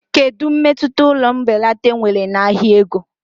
Kedu mmetụta ụlọ mbelata nwere na ahịa ego?